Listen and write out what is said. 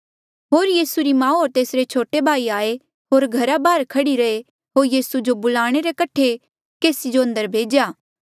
होर यीसू री माऊ होर तेसरे छोटे भाई आये होर घरा बाहर खह्ड़ी रहे होर यीसू जो बुलाणे कठे केसी जो अंदर भेज्या